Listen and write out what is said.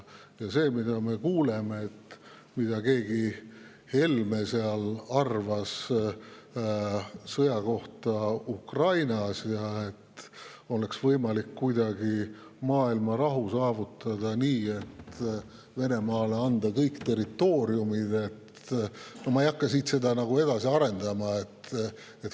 Ja see, mida me oleme kuulnud, mida keegi Helme arvas sõja kohta Ukrainas, et maailma rahu oleks kuidagi võimalik saavutada nii, et Venemaale antakse kõik territooriumid – no ma ei hakka seda edasi arendama.